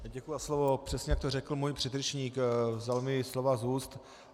Děkuji za slovo, přesně jak to řekl můj předřečník, vzal mi slova z úst.